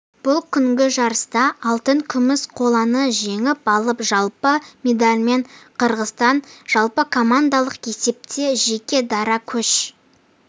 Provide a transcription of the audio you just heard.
бұл күнгі жарыста алтын күміс қоланы жеңіп алып жалпы медальмен қырғызстан жалпыкомандалық есепте жеке дара көш